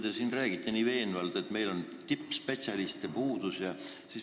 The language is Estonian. Te siin räägite nii veenvalt, et meil on tippspetsialistide puudus.